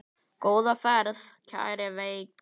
Góða ferð, kæra Veiga.